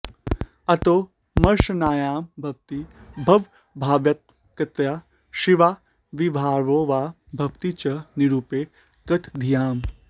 अतो मर्शान्नायं भवति भवभावात्मकतया शिवाविर्भावो वा भवति च निरूपे गतधियाम्